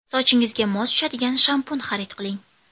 Sochingizga mos tushadigan shampun xarid qiling.